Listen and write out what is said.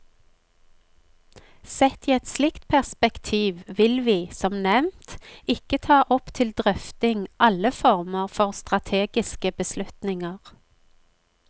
Sett i et slikt perspektiv vil vi, som nevnt, ikke ta opp til drøfting alle former for strategiske beslutninger.